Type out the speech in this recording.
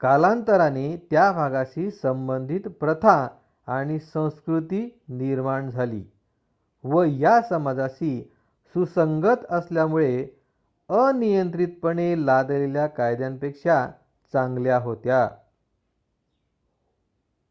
कालांतराने त्या भागाशी संबंधित प्रथा आणि संस्कृती निर्माण झाली व या समाजाशी सुसंगत असल्यामुळे अनियंत्रितपणे लादलेल्या कायद्यांपेक्षा चांगल्या होत्या